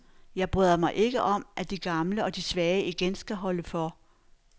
Jeg bryder mig ikke om, at de gamle og de svage igen skal holde for.